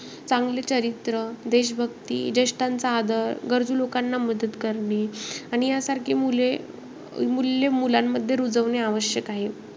चांगले चरित्र, देशभक्ती, जेष्टांचा आदर, गरजू लोकांना मदत करणे आणि यासारखे मुले~ मूल्य मुलांमध्ये रुजवणे आवश्यक आहे.